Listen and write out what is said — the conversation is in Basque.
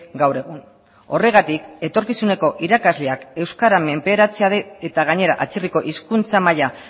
gaur egun horregatik etorkizuneko irakasleak euskara menperatzea eta gainera atzerriko hizkuntza maila